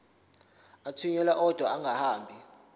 athunyelwa odwa angahambi